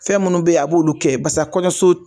Fɛn munnu be yen a b'olu kɛ basa kɔɲɔso